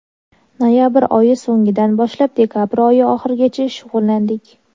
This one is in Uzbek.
Noyabr oyi so‘ngidan boshlab dekabr oyi oxirigacha shug‘ullandik.